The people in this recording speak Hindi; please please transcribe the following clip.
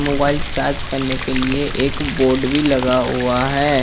मोबाइल चार्ज करने के लिए एक बोर्ड भी लगा हुआ है।